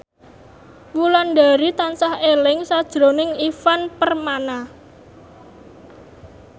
Wulandari tansah eling sakjroning Ivan Permana